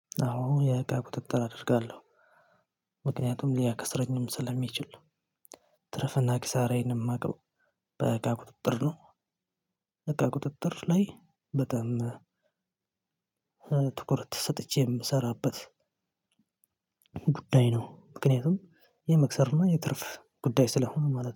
አዎ የእቃ ቁጥጥር አደርጋለሁ። ምክንያቱም ሊያከስረኝም ስለሚች። ትርፍና ኪሳራዬንም የማውቀው በእቃ ቁጥጥር ነው። በቃ ቁጥጥር ላይ በጣም ትኩረት ሰጥቼ የምሰራበት ጉዳይ ነው። ምክንያቱም የመክሰር እና የትርፍ ጉዳይ ስለሆኑ ማለት ነው።